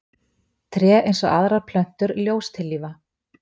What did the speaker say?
Tré, eins og aðrar plöntur, ljóstillífa.